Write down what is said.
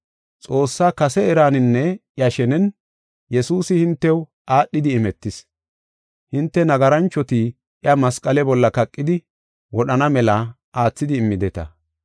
Xoossa kase eraninne iya shenen, Yesuusi hintew aadhidi imetis. Hinte, nagaranchoti iya masqale bolla kaqidi wodhana mela aathidi immideta.